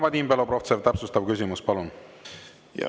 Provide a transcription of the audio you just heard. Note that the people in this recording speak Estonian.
Vadim Belobrovtsev, täpsustav küsimus, palun!